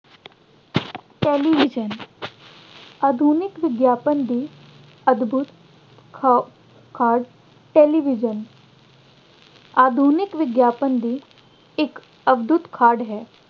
television ਆਧੁਨਿਕ ਵਿਗਿਆਨ ਦੀ ਅਦਭੁੱਤ ਖ ਅਹ ਖੋਜ television ਆਧੁਨਿਕ ਵਿਗਿਆਨ ਦੀ ਇੱਕ ਅਦਭੁੱਤ ਕਾਢ ਹੈ।